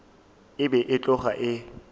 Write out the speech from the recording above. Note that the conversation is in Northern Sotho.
e be e tloga e